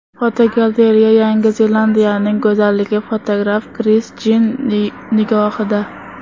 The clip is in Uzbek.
Fotogalereya: Yangi Zelandiyaning go‘zalligi fotograf Kris Jin nigohida.